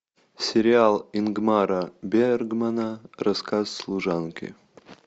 сериал ингмара бергмана рассказ служанки